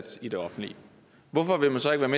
som